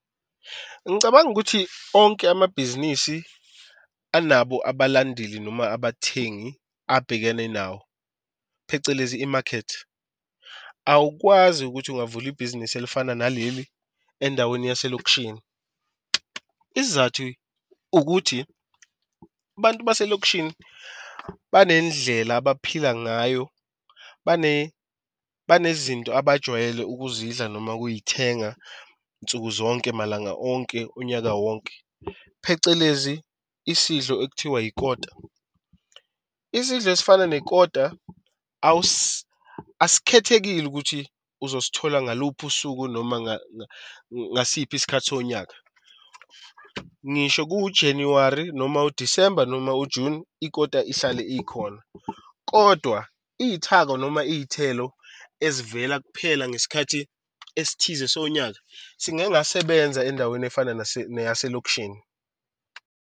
Ngicabanga ukuthi onke amabhizinisi anabo abalandeli noma abathengi abhekene nawo phecelezi i-market. Awukwazi ukuthi ungavula ibhizinisi elifana naleli endaweni yaselokishini. Isizathu ukuthi abantu baselokishini banendlela abaphila ngayo banezinto abajwayele ukuzidla noma ukuy'thenga nsuku zonke, malanga onke onyaka wonke, phecelezi isidlo ekuthiwa ikota. Isidlo esifana nekota asikhethekile ukuthi uzosithola ngaluphi usuku noma ngasiphi isikhathi sonyaka, ngisho kuwu-January noma u-December noma u-June ikota ihlale ikhona. Kodwa iy'thako, noma iy'thelo ezivela kuphela ngesikhathi esithize sonyaka singangasebenza endaweni efana neyaselokishini.